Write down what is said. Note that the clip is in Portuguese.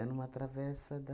Era numa travessa da...